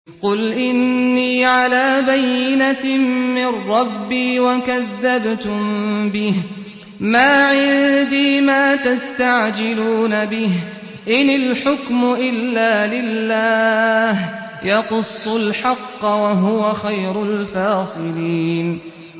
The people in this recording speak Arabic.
قُلْ إِنِّي عَلَىٰ بَيِّنَةٍ مِّن رَّبِّي وَكَذَّبْتُم بِهِ ۚ مَا عِندِي مَا تَسْتَعْجِلُونَ بِهِ ۚ إِنِ الْحُكْمُ إِلَّا لِلَّهِ ۖ يَقُصُّ الْحَقَّ ۖ وَهُوَ خَيْرُ الْفَاصِلِينَ